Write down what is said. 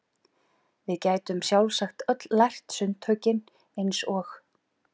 Við gætum sjálfsagt öll lært sundtökin eins og